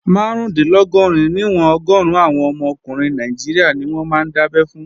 Márùndínlọ́gọ́rin níwọ̀n ọgọ́run àwọn ọmọ ọkùnrin Nàìjíríà ni wọ́n máa ń dábẹ́ fún